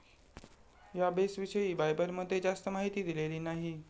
याबेसविषयी बायबलमध्ये जास्त माहिती दिलेली नाही.